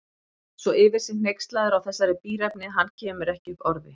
Svo yfir sig hneykslaður á þessari bíræfni að hann kemur ekki upp orði.